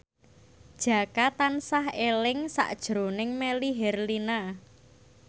Jaka tansah eling sakjroning Melly Herlina